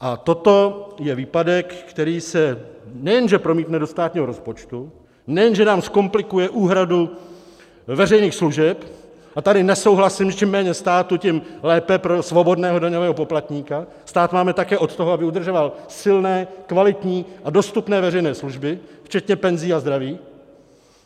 A toto je výpadek, který se nejenže promítne do státního rozpočtu, nejenže nám zkomplikuje úhradu veřejných služeb - a tady nesouhlasím, že čím méně státu, tím lépe pro svobodného daňového poplatníka, stát máme také od toho, aby udržoval silné, kvalitní a dostupné veřejné služby, včetně penzí a zdraví.